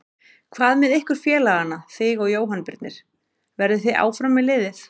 Hvað með ykkur félagana þig og Jóhann Birnir, verðið þið áfram með liðið?